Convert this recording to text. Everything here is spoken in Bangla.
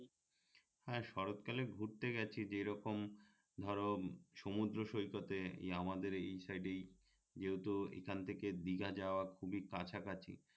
হ্যাঁ শরৎ কালে ঘুরতে গেছি যেরকম ধরো সমুদ্র সৈকতে আমাদের এই সাইডেই যেহেতু এখান থেকে দিঘা যাওয়ার খুবই কাছাকাছি